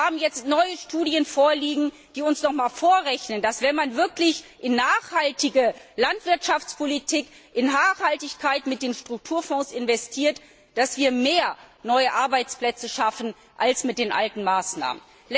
Wir haben jetzt neue Studien vorliegen, die uns noch einmal vorrechnen, dass wir, wenn wir wirklich in nachhaltige Landwirtschaftspolitik, in Nachhaltigkeit mit den Strukturfonds investieren, mehr neue Arbeitsplätze schaffen als mit den alten Maßnahmen.